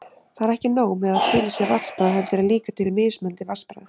Það er ekki nóg með að til sé vatnsbragð, heldur er líka til mismunandi vatnsbragð!